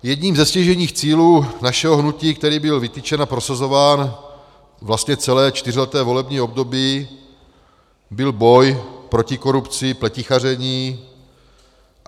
Jedním ze stěžejních cílů našeho hnutí, který byl vytyčen a prosazován vlastně celé čtyřleté volební období, byl boj proti korupci, pletichaření.